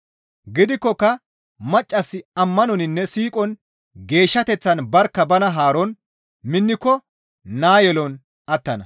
Gidikkoka maccassi ammanoninne siiqon geeshshateththan barkka bana haaron minniko naa yelon attana.